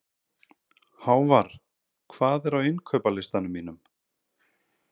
Hávarr, hvað er á innkaupalistanum mínum?